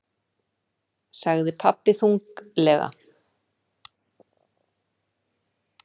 sagði pabbi þunglega.